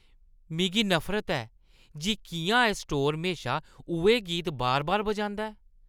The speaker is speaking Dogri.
मिगी नफरत ऐ जे किʼयां एह् स्टोर म्हेशा उʼऐ गीत बार-बार बजांदा ऐ।